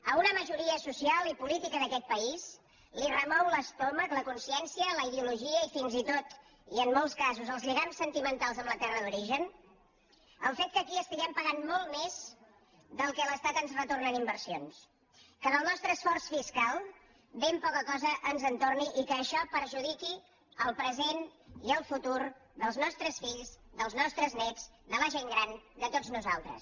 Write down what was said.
a una majoria social i política social d’aquest país li remou l’estómac la consciència la ideologia i fins i tot i en molts casos els lligams sentimentals amb la terra d’origen el fet que aquí estiguem pagant molt més del que l’estat ens retorna en inversions que del nostre esforç fiscal ben poca cosa ens torni i que això perjudiqui el present i el futur dels nostres fills dels nostres néts de la gent gran de tots nosaltres